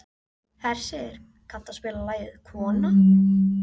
Hersir, kanntu að spila lagið „Kona“?